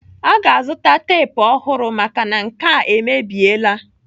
Aga azụta tep ọhụrụ maka nke a emebiela.